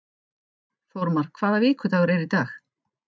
Þórmar, hvaða vikudagur er í dag?